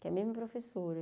Que é mesma professora.